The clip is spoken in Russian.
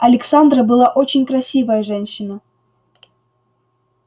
александра была очень красивая женщина